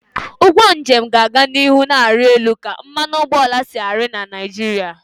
Ugwo njem ga-aga n'ihu na-arị elu ka mmanụ ụgbọala si ari na Naịjirịa